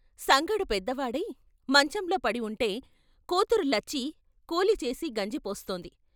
సంగడు పెద్దవాడై మంచంలో పడి ఉంటే కూతురు లచ్చి కూలిచేసి గంజి పోస్తోంది.